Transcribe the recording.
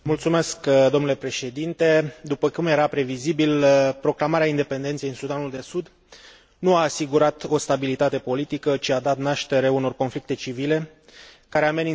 După cum era previzibil, proclamarea independenței în Sudanul de Sud nu a asigurat o stabilitate politică, ci a dat naștere unor conflicte civile, care amenință pacea și securitatea în regiune.